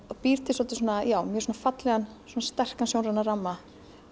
býr til svolítið svona já mjög svona fallegan sterkan sjónrænan ramma